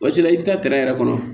Waati la i bɛ taa yɛrɛ kɔnɔ